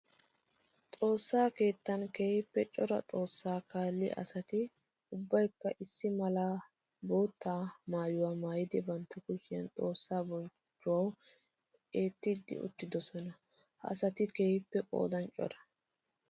Xoosa keettan keehippe cora xoosa kaalliya asatti ubbaykka issi mala bootta maayuwa maayiddi bantta kushiyan xoosa bonchchuwawu eettidde uttidosonna. Ha asatti keehippe qoodan cora.